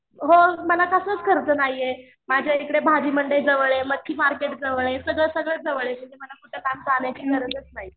हो मला कसलाच खर्च नाहीये. माझ्या इकडे भाजी मंडई जवळ आहे मच्छी मार्केट जवळ ये सगळं सगळं जवळ ये. मला कुठं लांब चालायची गरजच नाही.